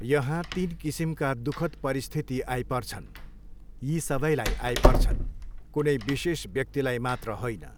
यहाँ तिन किसिमका दुखद् परिस्थिति आइपर्छन्, यी सबैलाई आइपर्छन्, कुनै विशेष व्यक्तिलाई मात्र होइन।